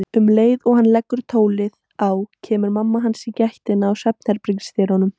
Um leið og hann leggur tólið á kemur mamma hans í gættina í svefnherbergis- dyrunum.